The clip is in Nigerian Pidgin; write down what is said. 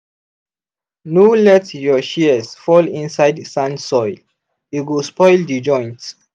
no let your shears fall inside sand soil e go spoil the joint.